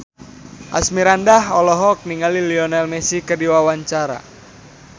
Asmirandah olohok ningali Lionel Messi keur diwawancara